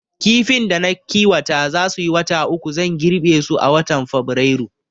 Kifayen da na kiwata za suyi wata uku, zan girbe su a watan Fabrairu